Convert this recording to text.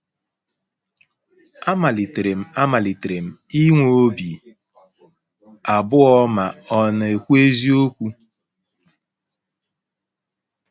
Amalitere m Amalitere m um inwe obi abụọ ma ọ̀ na - ekwu eziokwu. ”